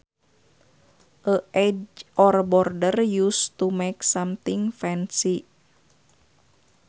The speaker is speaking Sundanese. A edge or border used to make something fancy